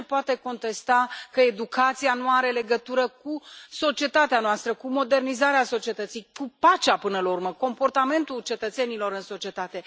Cine poate contesta că educația nu are legătură cu societatea noastră, cu modernizarea societății, cu pacea, până la urmă, cu comportamentul cetățenilor în societate?